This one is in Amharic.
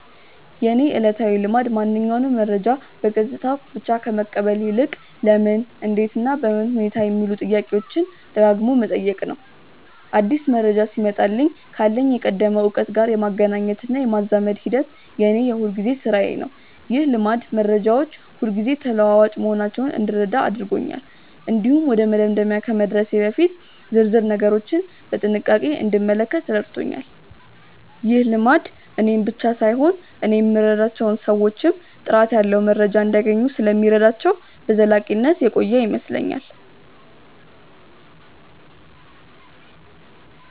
የእኔ ዕለታዊ ልማድ ማንኛውንም መረጃ በገጽታው ብቻ ከመቀበል ይልቅ "ለምን? እንዴት? እና በምን ሁኔታ" የሚሉትን ጥያቄዎች ደጋግሞ መጠየቅ ነው። አዲስ መረጃ ሲመጣልኝ ካለኝ የቀደመ እውቀት ጋር የማገናኘትና የማዛመድ ሂደት የእኔ የሁልጊዜ ሥራዬ ነው። ይህ ልማድ መረጃዎች ሁልጊዜ ተለዋዋጭ መሆናቸውን እንድረዳ አድርጎኛል። እንዲሁም ወደ መደምደሚያ ከመድረሴ በፊት ዝርዝር ነገሮችን በጥንቃቄ እንድመለከት ረድቶኛል። ይህ ልማድ እኔን ብቻ ሳይሆን እኔ የምረዳቸውን ሰዎችም ጥራት ያለው መረጃ እንዲያገኙ ስለሚረዳቸው በዘላቂነት የቆየ ይመስለኛል።